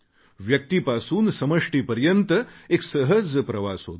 व्यक्तीपासून सर्वांपर्यंत एक सहज प्रवास होतो